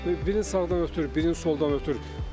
Birini sağdan ötür, birini soldan ötür.